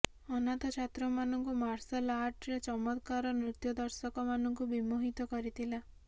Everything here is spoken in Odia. ଅନାଥ ଛାତ୍ର ମାନଙ୍କୁ ମାର୍ଶଲ ଆର୍ଟରେ ଚମତ୍କାର ନୃତ୍ୟ ଦର୍ଶକ ମାନଙ୍କୁ ବିମୋହିତ କରିଥିଲା